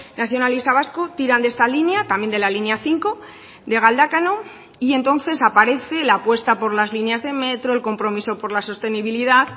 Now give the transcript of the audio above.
nacionalista vasco tiran de esta línea también de la línea cinco de galdakao y entonces aparece la apuesta por las líneas de metro el compromiso por la sostenibilidad